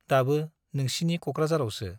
दाबो नोंसिनि क'क्राझारावसो ।